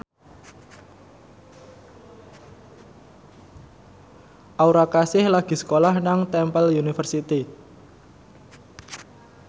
Aura Kasih lagi sekolah nang Temple University